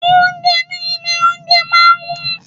Oúnjẹ ní ilé oúnjẹ máa ń wón.